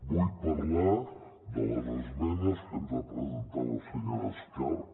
vull parlar de les esmenes que ens va presentar la senyora escarp